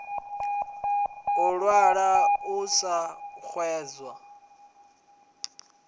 u ṅwala u a xedza